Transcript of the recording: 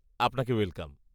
আপনাকে ওয়েলকাম।